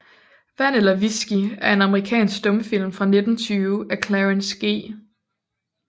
Vand eller Whisky er en amerikansk stumfilm fra 1920 af Clarence G